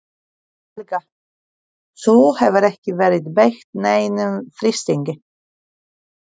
Helga: Þú hefur ekki verið beitt neinum þrýstingi?